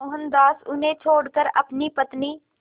मोहनदास उन्हें छोड़कर अपनी पत्नी